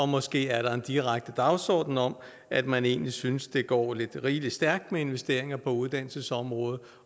måske er der en direkte dagsorden om at man egentlig synes det går lidt rigelig stærkt med investeringerne på uddannelsesområdet